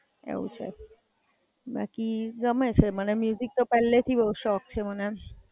એવું છે, બાકી ગમે છે મને મ્યુજિક તો પેહલેથી બઉ શોખ છે મને.